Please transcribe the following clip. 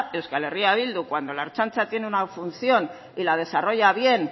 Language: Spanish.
euskal herria bildu cuando la ertzaintza tiene una función y la desarrolla bien